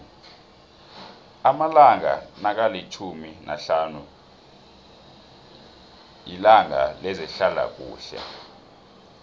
amalanga nokalitjhumi nahlanu yitanga lezehlalakuhle